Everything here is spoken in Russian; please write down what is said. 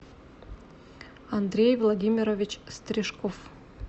андрей владимирович стрижков